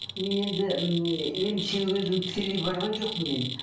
мен енді ммм емшіге өзім тікелей барған жоқпын мен